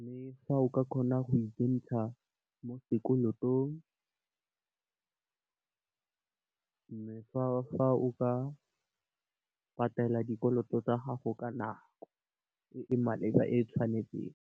Mme, fa o ka kgona go ikentsha mo sekolotong le fa o ka patela dikoloto tsa gago ka nako e e maleba, e tshwanetseng.